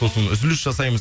сосын үзіліс жасаймыз